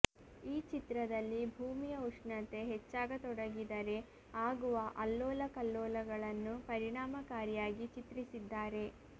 ಈ ಚಿತ್ರದಲ್ಲಿ ಭೂಮಿಯ ಉಷ್ಣತೆ ಹೆಚ್ಚಾಗತೊಡಗಿದರೆ ಆಗುವ ಅಲ್ಲೋಲಕಲ್ಲೋಲಗಳನ್ನು ಪರಿಣಾಮಕಾರಿಯಾಗಿ ಚಿತ್ರಿಸಿದ್ದಾರೆ